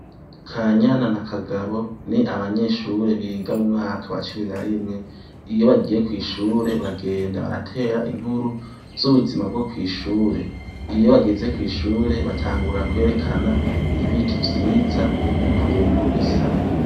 Kanyana na kagabo ni abanyeshure biga mumwaka wa cumi narimwe, iyo bagiye kwishure bagenda baratera inkuru zubuzima bwokwishure, iyo bageze kwishure batangura kwerekana ibiti vyiza ukuntu bisa.